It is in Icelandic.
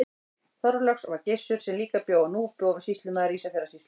Þorláks var Gissur sem líka bjó á Núpi og var sýslumaður Ísafjarðarsýslu.